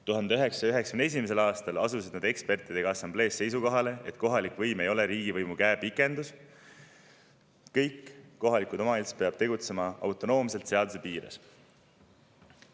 1991. aastal asuti assamblees koos ekspertidega seisukohale, et kohalik võim ei ole riigivõimu käepikendus, kõik kohalikud omavalitsused peavad tegutsema autonoomselt seaduse piires.